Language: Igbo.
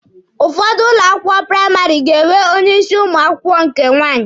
Ụfọdụ ụlọ akwụkwọ praịmarị ga-enwe onye isi ụmụ akwụkwọ nke nwaanyị.